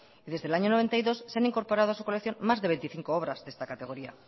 y desde el año noventa y dos se han incorporado a su colección más de veinticinco obras de esta categoría